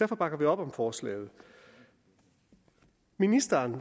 bakker vi op om forslaget ministeren